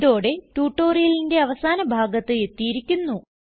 ഇതോടെ ട്യൂട്ടോറിയലിന്റെ അവസാന ഭാഗത്ത് എത്തിയിരിക്കുന്നു